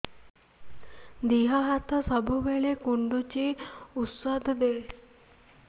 ଦିହ ହାତ ସବୁବେଳେ କୁଣ୍ଡୁଚି ଉଷ୍ଧ ଦେ